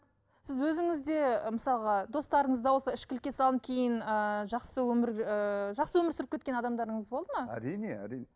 сіз өзіңізде мысалға достарыңызда осы ішкілікке салынып кейін ыыы жақсы өмір ыыы жақсы өмір сүріп кеткен адамдарыңыз болды ма әрине әрине